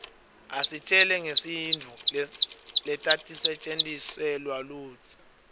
isitjela ngetintfu letatisetjentiswaluudzala